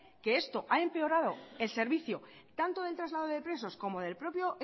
que esto ha empeorado el servicio tanto del traslado de presos como del propio